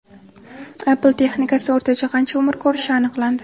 Apple texnikasi o‘rtacha qancha umr ko‘rishi aniqlandi.